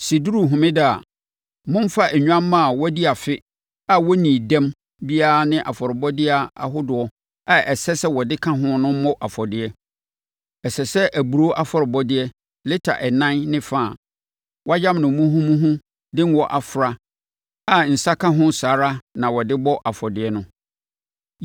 “ ‘Sɛ ɛduru homeda a, momfa nnwammaa a wɔadi afe a wɔnnii dɛm biara ne afɔrebɔdeɛ ahodoɔ a ɛsɛ sɛ mode ka ho no mmɔ afɔdeɛ. Ɛsɛ sɛ aburoo afɔrebɔdeɛ lita ɛnan ne fa a wɔayam no muhumuhu de ngo afra a nsã ka ho saa ara na wɔde bɔ saa afɔdeɛ no.